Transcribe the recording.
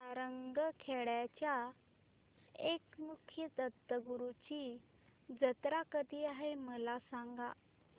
सारंगखेड्याच्या एकमुखी दत्तगुरूंची जत्रा कधी आहे मला सांगा